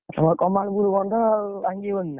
ତମର ବନ୍ଧ ଆଉ ଭାଙ୍ଗିବନି ନା।